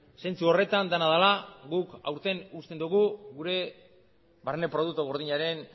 zentzu horretan dena dela guk aurten usten dugu gure barne produktu gordinaren